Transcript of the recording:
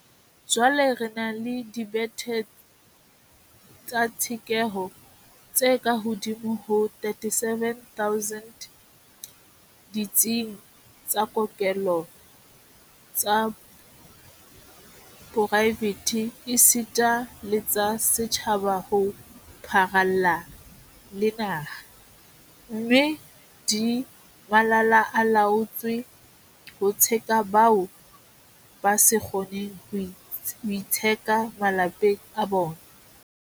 Jwale re na le dibethe tsa tshekeho tse kahodimo ho 37 000 ditsing tsa kokelo tsa poraefete esita le tsa setjhaba ho pharalla le naha, mme di malala-a-laotswe ho tsheka bao ba sa kgoneng ho itsheka malapeng a bona.